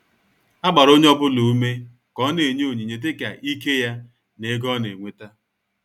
A gbara onye ọbụla ùmè ka ó na-enye onyinye dịka íké ya na ègò ọ̀ na-enweta.